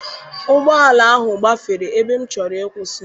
Ụgbọala ahụ gbafere ebe m chọrọ ịkwụsị.